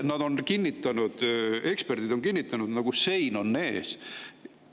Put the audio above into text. Nad on kinnitanud, eksperdid on kinnitanud: nagu sein on ees.